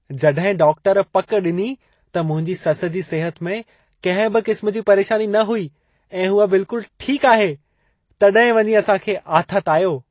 जॾहिं डॉक्टर पक ॾिनी त मुंहिंजी ससु जी सिहत में कंहिं बि क़िस्म जी परेशानी न हुई ऐं हूअ बिल्कुलु ठीकु आहे, तॾहिं वञी असां खे आथतु आयो।